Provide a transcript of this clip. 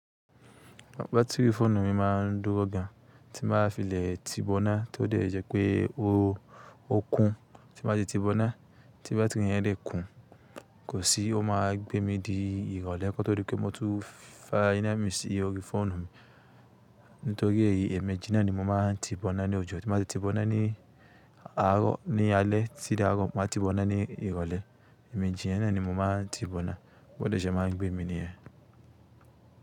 Batiri fóònù mi máà ń dúró gan tí màá fi lè ti bo náà tí ó dẹ̀ jẹ́ pé ó, ó kún. Tí màá ti bo náà tí bátìrì yẹn dẹ̀ kún, kò sí ó máa gbé mi di ìrọ̀lẹ́ kó tó rí pé mó tún fá inú ẹ̀mí sí orí fóònù mi. Nítorí èyí ẹméjì na ni mo máa ń ti bo náà ní òjò. Tí màá ti bo náà ní àárọ̀, ní alé, ti dí àárọ̀, má ti bo náà ní ìrọ̀lẹ́. Ẹ̀mí jíina ni mo máa ń ti bo náà bóde ṣe máa ń gbé mi níya.